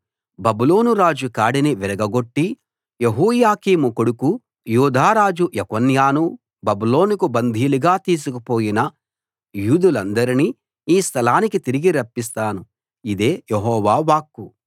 బబులోను రాజు కాడిని విరగగొట్టి యెహోయాకీము కొడుకు యూదా రాజు యెకొన్యాను బబులోనుకు బందీలుగా తీసుకుపోయిన యూదులందరినీ ఈ స్థలానికి తిరిగి రప్పిస్తాను ఇదే యెహోవా వాక్కు